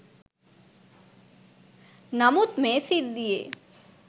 නමුත් මේ සිද්ධියේ